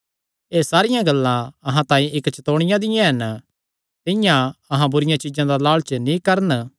एह़ सारियां गल्लां अहां तांई इक्क चतौणियां दियां हन कि जिंआं तिन्हां लालच कित्ता तिंआं अहां बुरिआं चीज्जां दा लालच नीं करन